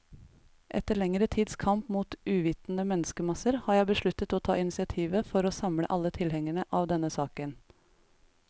Etter lengre tids kamp mot uvitende menneskemasser, har jeg besluttet å ta initiativet for å samle alle tilhengere av denne saken.